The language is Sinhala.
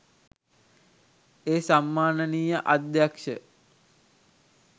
ඒ සම්මානනීය අධ්‍යක්ෂ